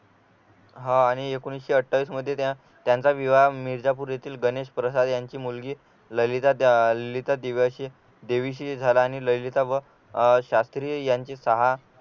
हा आणि एकोणविशे अठ्ठावीस मध्ये त्यांना त्यांचा विवाह मिर्झापूर येथील गणेश प्रसाद यांची मुलगी ललिता ललिता दिव्याशी देवीशी झालाआणि ललिता व शास्त्री यांचे सहा